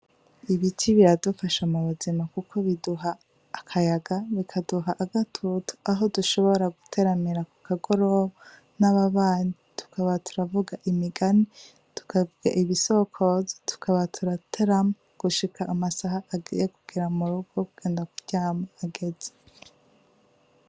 Ibiti biradufasha mubuzima kuko biduha akayaga, bikaduha agatutu aho dushobora guteramira ku kagoroba n'ababanyi, tukaba turavuga imigani, ibisokozo, tukaba turaterama gushika amasaha agiye kugera mu rugo kugenda kuryama ageze.